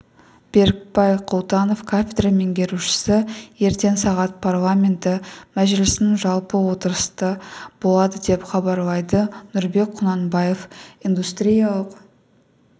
берікбай құлтанов кафедра меңгерушісі ертең сағат парламенті мәжілісінің жалпы отырысы болады деп хабарлайды нұрбек құнанбаев индустриялық